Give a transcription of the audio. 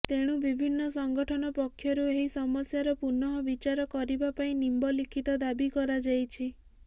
ତେଣୁ ବିଭିନ୍ନ ସଂଗଠନ ପକ୍ଷରୁ ଏହି ସମସ୍ୟାର ପୁନଃ ବିଚାର କରିବା ପାଇଁ ନିମ୍ବଲିଖିତ ଦାବୀ କରାଯାଇଛି